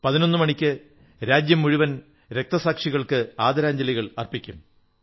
11 മണിക്ക് രാജ്യം മുഴുവൻ രക്തസാക്ഷികൾക്ക് ആദരാഞ്ജലികൾ അർപ്പിക്കും